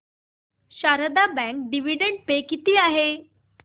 Sharda bank dividend pay किती आहे